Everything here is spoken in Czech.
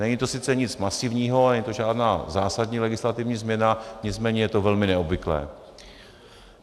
Není to sice nic masivního, není to žádná zásadní legislativní změna, nicméně je to velmi neobvyklé.